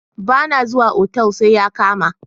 Ba na zuwa otal sai ya kama.